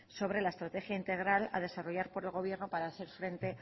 sobre la estrategia integral a desarrollar por el gobierno para hacer frente